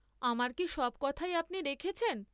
আমার কি সব কথাই আপনি রেখেছেন?